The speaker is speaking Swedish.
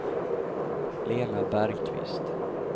Lena Bergqvist